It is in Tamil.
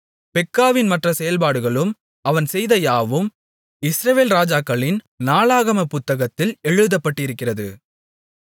பெக்காவின் மற்ற செயல்பாடுகளும் அவன் செய்த யாவும் இஸ்ரவேல் ராஜாக்களின் நாளாகமப் புத்தகத்தில் எழுதப்பட்டிருக்கிறது